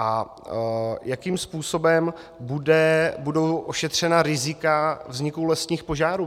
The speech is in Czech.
A jakým způsobem budou ošetřena rizika vzniku lesních požárů?